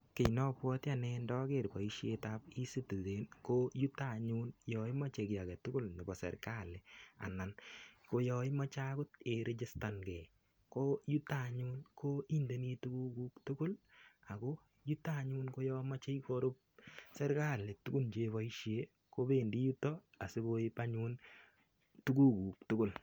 Kiy nombwati anne ndager boisietab ecitizen ko yuto anyun yo imoche kiy age tugul nebo sergali anan ko yo imoche agot irigistan ngei koyuto anyun ko indeni tugukuk tugul ago yuto anyun koyomoche korup sergali tugun cheboisie kopendi yuto asigoip anyun tugukuk tugul.